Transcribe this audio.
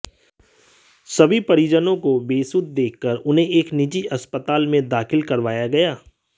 सभी परिजनों को बेसुध देखकर उन्हें एक निजी हस्पताल में दाखिल करवाया गया